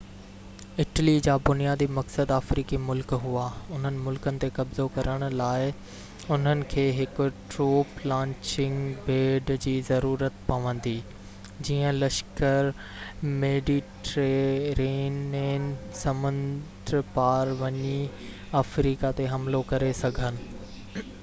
Italy جا بنيادي مقصد افريقي ملڪ هئا اُنهن ملڪن تي قبضو ڪرڻ لاءِ انهن کي هڪ ٽروپ لانچنگ پيڊ جي ضرورت پوندي جيئن لشڪر ميڊيٽيرينين سمنڊ پار وڃي افريقا تي حملو ڪري سگهن